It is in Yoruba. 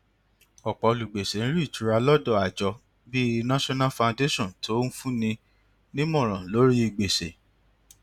ọpọ olùgbèsè ń rí ìtura lọ́dọ̀ àjọ bí national foundation tó ń fúnni nímòràn lórí gbèsè